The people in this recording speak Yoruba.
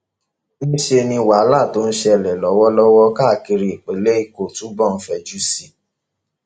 níṣẹ ni wàhálà tó ń ṣẹlẹ lọwọlọwọ káàkiri ìpínlẹ èkó túbọ ń fẹjú sí i